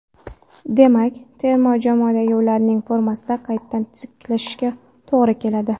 Demak, terma jamoadagi ularning formasini qaytadan tiklashingizga to‘g‘ri keladi.